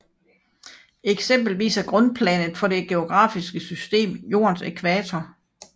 Eksempelvis er grundplanet for det geografiske system Jordens ækvator